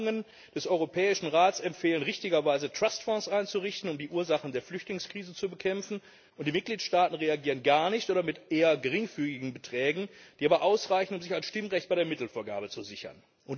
Tagungen des Europäischen Rats empfehlen richtigerweise, Trustfonds einzurichten, um die Ursachen der Flüchtlingskrise zu bekämpfen, und die Mitgliedstaaten reagieren gar nicht oder mit eher geringfügigen Beträgen, die aber ausreichen, um sich ein Stimmrecht bei der Mittelvergabe zu sichern.